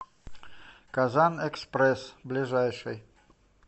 казанэкспресс ближайший